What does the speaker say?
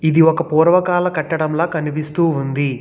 ఇది ఒక పూర్వకాల కట్టడంలా కనిపిస్తూ ఉంది.